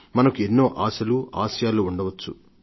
మనకు ఎన్నో ఆశలు ఆసయాలు ఉండవచ్చు